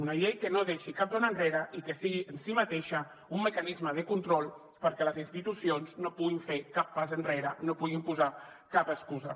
una llei que no deixi cap dona enrere i que sigui en si mateixa un mecanisme de control perquè les institucions no puguin fer cap pas enrere no puguin posar cap excusa